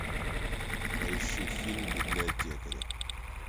поищи фильм библиотекари